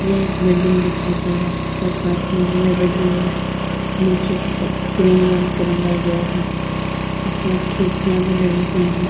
यह बिल्डिंग दिखाई दे रहा है यहाँ पांच मंजिल बिल्डिंग है नीचे का रंग क्रीम रंग से रंगा गया है इसमें खिड़कियां भी लगी हुई है।